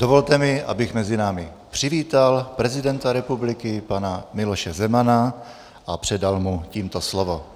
Dovolte mi, abych mezi námi přivítal prezidenta republiky pana Miloše Zemana a předal mu tímto slovo.